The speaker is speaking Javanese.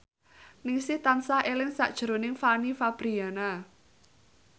Ningsih tansah eling sakjroning Fanny Fabriana